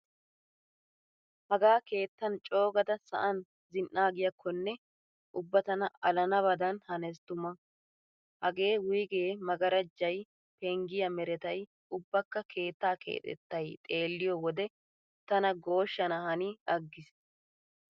Hagaa keettan coogada sa'an zin"aagiyakonne ubba tana alanabadan hanees tuma. Hagee wuygee, magarajjay, penggiya meretay ubbakka keettaa keexettay xeelliyo wode tana gooshshana hani aggiis.